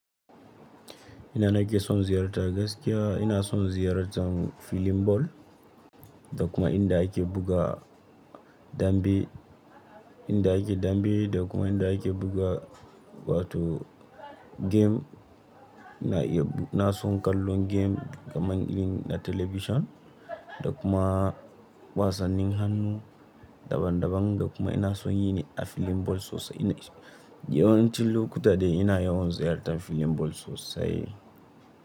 Ina na ke son ziyarta gaskiya, ina son ziyartar filin ball. Da kuma inda ake buga dambe, inda ake dambe da kuma inda ake buga wato game. Na iya, na son kallon game kamar yin a talabishin da kuma wasannin hannu daban daban da kuma ina son yi ne a filin ball sosai. Yawancin lokuta dai ina yawan ziyartan filin ball sosai.